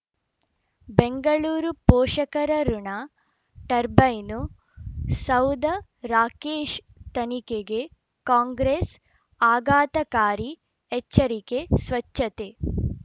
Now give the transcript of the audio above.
ಬೆಂಗಳೂರು ಪೋಷಕರಋಣ ಟರ್ಬೈನು ಸೌಧ ರಾಕೇಶ್ ತನಿಖೆಗೆ ಕಾಂಗ್ರೆಸ್ ಆಘಾತಕಾರಿ ಎಚ್ಚರಿಕೆ ಸ್ವಚ್ಛತೆ